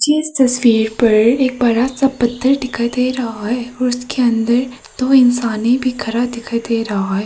इस तस्वीर पर एक बड़ा सा पत्थर दिखाई दे रहा है उसके अंदर दो इंसान भी खड़ा दिखाई दे रहा हैं।